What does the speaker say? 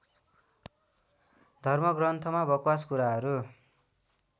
धर्मग्रन्थमा बकवास कुराहरू